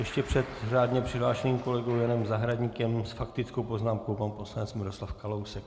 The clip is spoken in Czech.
Ještě před řádně přihlášeným kolegou Janem Zahradníkem s faktickou poznámkou pan poslanec Miroslav Kalousek.